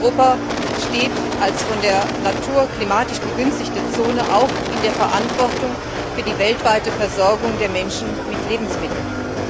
Europa steht als von der Natur klimatisch begünstigte Zone auch in der Verantwortung für die weltweite Versorgung der Menschen mit Lebensmitteln.